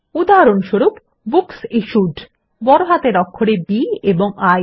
উদাহরণস্বরূপ বুকসিশ্যুড বড় হাতের অক্ষরে B এবং ই